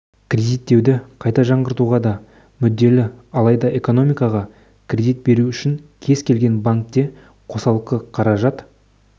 кредиттеуді қайта жаңғыртуға да мүдделі алайда экономикаға кредит беру үшін кез келген банкте қосалқы қаражат